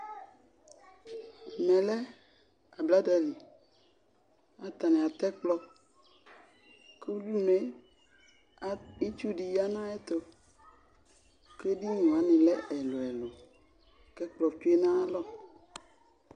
Ɛmɛ lɛ ablada li Kʋ atani atɛ ɛkplɔ, kʋ udunue, itsu di ya nʋ ayɛtʋ kʋ edini wani lɛ ɛlʋ ɛlʋ, kʋ ɛkplɔ tsʋe nʋ ayalɔ